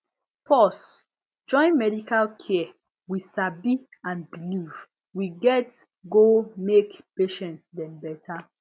pause join medical care we sabi and belief we get go make patient dem better